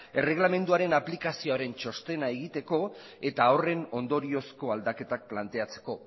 erregelamenduaren aplikazioaren txostena egiteko eta horren ondoriozko aldaketak planteatzeko